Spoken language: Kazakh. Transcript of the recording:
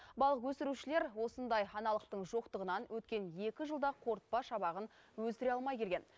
балық өсірушілер осындай аналықтың жоқтығынан өткен екі жылда қорытпа шабағын өсіре алмай келген